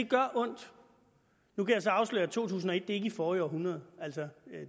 gør ondt nu kan jeg så afsløre at to tusind og et ikke er forrige århundrede